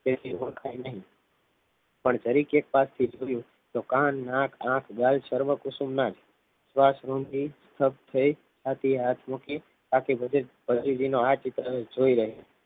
તેથી ઓળખાય નહીં પણ જરી કે પાછળ જોયું તો કાન નાક આંખ ગાલ સર્વ કુસુમના જ સ્વાસ ઋથી disturb થઈ હતી આથી હાથ મૂકી બાકી બધું આ ચિત્રને જોઈ રહ્યો